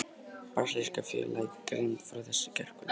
Brasilíska félagið greindi frá þessu í gærkvöld.